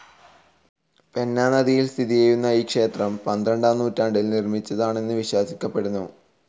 Peña നദിയിൽ സ്ഥിതി ചെയ്യുന്ന ഈ ക്ഷേത്രം പന്ത്രണ്ടാം നൂറ്റാണ്ടിൽ നിർമ്മിച്ചതാണെന്ന് വിശ്വസിക്കപ്പെടുന്നു.